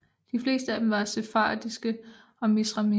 De fleste af dem var sefardiske og Mizrahim